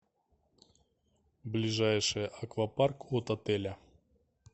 ближайший аквапарк от отеля